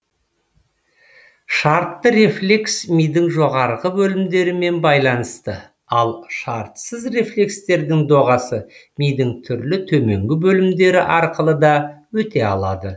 шартты рефлекс мидың жоғарғы бөлімдерімен байланысты ал шартсыз рефлекстердің доғасы мидың түрлі төменгі бөлімдері арқылы да өте алады